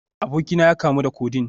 Abokina ya kamu da Codeine